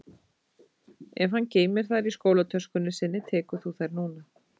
Ef hann geymir þær í skólatöskunni sinni tekur þú þær núna